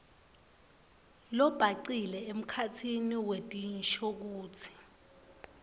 lobhacile emkhatsini wetinshokutsi